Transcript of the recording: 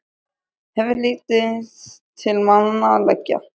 Hefur lítið til málanna að leggja.